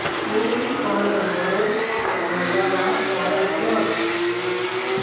Truecaller वर मेघा ला call कर